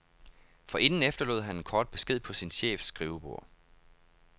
Forinden efterlod han en kort besked på sin chefs skrivebord.